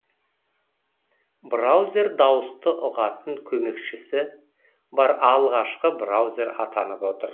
браузер дауысты ұғатын көмекшісі бар алғашқы браузер атанып отыр